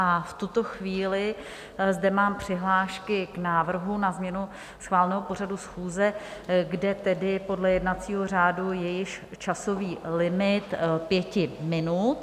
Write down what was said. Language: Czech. A v tuto chvíli zde mám přihlášky k návrhu na změnu schváleného pořadu schůze, kde tedy podle jednacího řádu je již časový limit pěti minut.